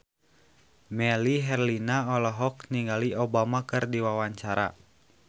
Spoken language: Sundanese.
Melly Herlina olohok ningali Obama keur diwawancara